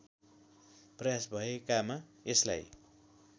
प्रयास भएकामा यसलाई